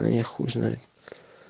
да я хуй знает